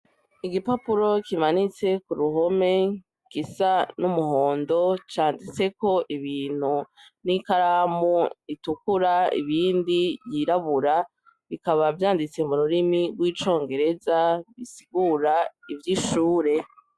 Igipapuro kimanitse kuruhome ,gisa n'umuhondo ,canditseko ibintu n'ikaramu ritukura ibindi ry'irabura ,bikaba vyanditse mururimi rw'icongereza bisigura ivy'ishure.